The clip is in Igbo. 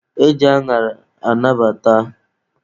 E ji añara ata abacha.